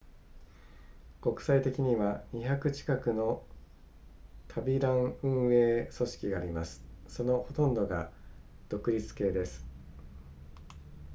国際的には200近くの旅ラン運営組織がありますそのほとんどが独立系です